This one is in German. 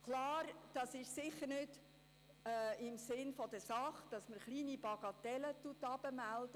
Klar, es ist sicherlich nicht im Sinn der Sache, Bagatellen nach unten zu melden.